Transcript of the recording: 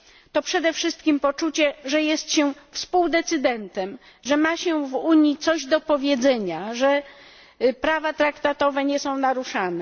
To przede wszystkim poczucie, że jest się współdecydentem, że ma się w Unii coś do powiedzenia, że prawa traktatowe nie są naruszane.